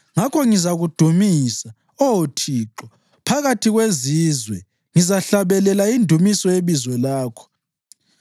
Ngakho ngizakudumisa, Oh Thixo, phakathi kwezizwe; ngizahlabelela indumiso yebizo lakho.